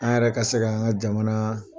A yɛrɛ ka se k'an ka jamana